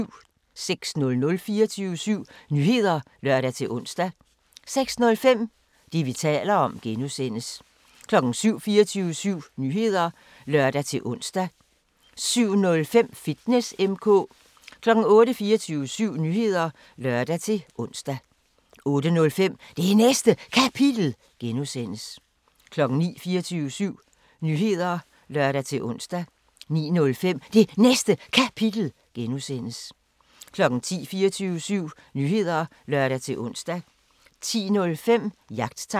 06:00: 24syv Nyheder (lør-ons) 06:05: Det, vi taler om (G) 07:00: 24syv Nyheder (lør-ons) 07:05: Fitness M/K 08:00: 24syv Nyheder (lør-ons) 08:05: Det Næste Kapitel (G) 09:00: 24syv Nyheder (lør-ons) 09:05: Det Næste Kapitel (G) 10:00: 24syv Nyheder (lør-ons) 10:05: Jagttegn